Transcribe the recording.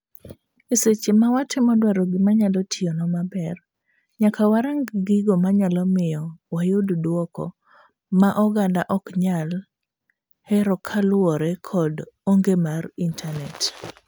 Eseche mawatemo dwaro gima nyalo tiyonwa maber, nyaka warang gigo manyalo miyo wayud duoko ma oganda ok nyal herokaluwore kod onge mar internate.